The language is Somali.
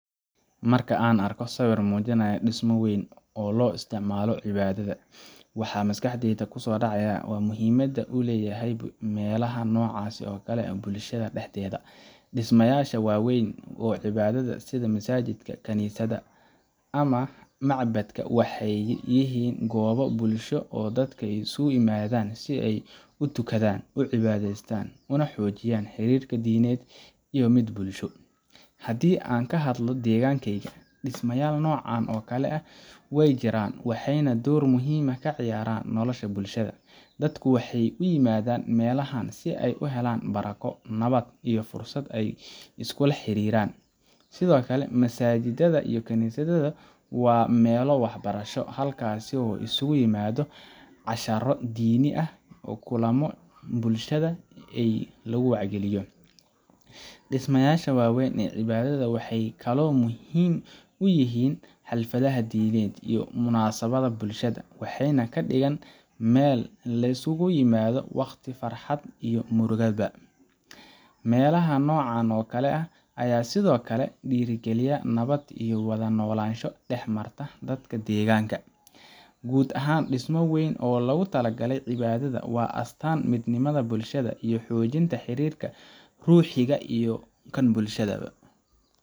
Marka aan arko sawir muujinaya dhismo weyn oo loo isticmaalo cibaadada, waxa maskaxdayda ku soo dhacaya muhiimadda uu leeyahay meelaha noocaas ah ee bulshada dhexdeeda. Dhismayaasha waaweyn ee cibaadada, sida masaajika, kaniisada, ama macbadka, waxay yihiin goobo bulsho oo dadka ay iskugu yimaadaan si ay u tukadaan, u cibaadeystaan, una xoojiyaan xiriirka diineed iyo mid bulsho. Haddii aan ka hadlo deegaankeyga, dhismayaal noocan oo kale ah way jiraan, waxayna door muhiim ah ka ciyaaraan nolosha bulshada. Dadku waxay u yimaadaan meelahan si ay u helaan barako, nabad, iyo fursad ay iskula xiriiraan. Sidoo kale, masaajidda iyo kaniisadada waa meelo waxbarasho, halkaasoo la isugu yimaado casharro diini ah iyo kulamo bulshada ay lagu wacyigeliyo. Dhismayaasha waaweyn ee cibaadada waxay kaloo muhiim u yihiin xafladaha diimeed iyo munaasabadaha bulshada, waxayna ka dhigaan meel lay isugu yimaado waqtiga farxadda iyo murugada. Meelaha noocan ah ayaa sidoo kale dhiirrigeliya nabad iyo wada noolaansho dhex marta dadka deegaanka. Guud ahaan, dhismo weyn oo loogu talagalay cibaadada waa astaanta midnimada bulshada, iyo xoojinta xiriirka ruuxiga ah iyo kan bulsho ba.